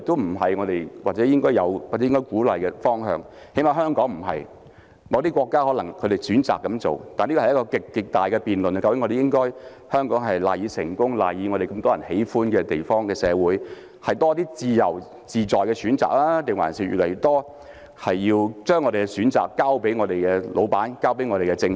我認為這不是我們應有或應鼓勵的方向，起碼對香港來說不是，某些國家可能選擇這樣做，但這是極具爭議的辯論，究竟香港賴以成功、賴以成為眾人喜歡的社會的因素，是要多些自由自在的選擇，還是將我們越來越多的選擇交予老闆、交予政府？